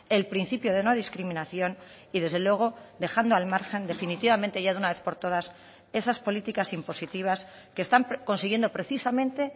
el principio de no discriminación y desde luego dejando al margen definitivamente ya de una vez por todas esas políticas impositivas que están consiguiendo precisamente